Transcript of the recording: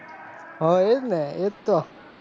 હ એજને એજતો